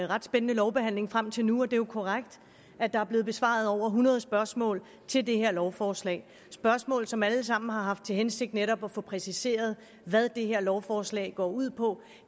ret spændende lovbehandling frem til nu det er korrekt at der er blevet besvaret over hundrede spørgsmål til det her lovforslag det spørgsmål som alle sammen har haft til hensigt netop at få præciseret hvad det her lovforslag går ud på